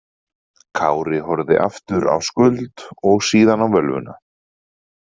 Kári horfði aftur á Skuld og síðan á völvuna.